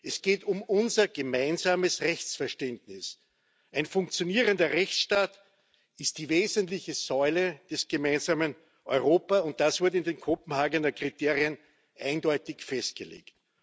es geht um unser gemeinsames Rechtsverständnis. Ein funktionierender Rechtsstaat ist die wesentliche Säule des gemeinsamen Europa, und das wurde in den Kopenhagener Kriterien eindeutig festgelegt.